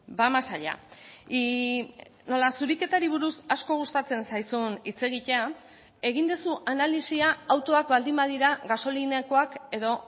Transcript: va más allá y nola zuriketari buruz asko gustatzen zaizun hitz egitea egin duzu analisia autoak baldin badira gasolinakoak edo